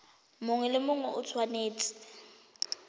mongwe le mongwe o tshwanetse